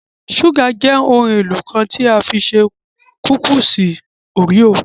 Ṣúgà jẹ́ ọ̀kan lára ohun-èlò tí wọ́n fi ṣe kúkísì òréò.